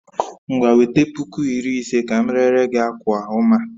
Ngwa wete puku iri ise ka m rere gi akwa oma a